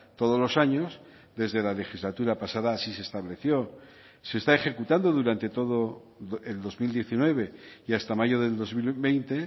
todos los años desde la legislatura pasada así se estableció se está ejecutando durante todo el dos mil diecinueve y hasta mayo del dos mil veinte